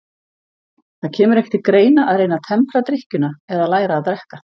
Það kemur ekki til greina að reyna að tempra drykkjuna eða læra að drekka.